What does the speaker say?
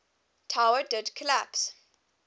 tower did collapse